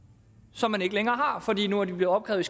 som man ikke længere har fordi de nu er blevet opkrævet